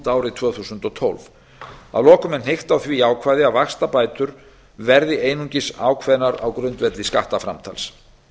árið tvö þúsund og tólf að lokum er hnykkt á því ákvæði að vaxtabætur verði einungis ákveðnar á grundvelli skattframtals